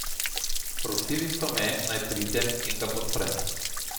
Prosili so me, naj pridem in ga podprem.